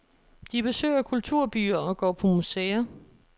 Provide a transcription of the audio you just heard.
De besøger kulturbyer og går på museer.